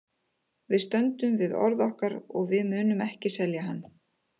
Við stöndum við orð okkar og við munum ekki selja hann.